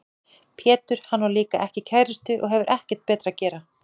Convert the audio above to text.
Pétur: Hann á líka ekki kærustu og hefur ekkert betra að gera.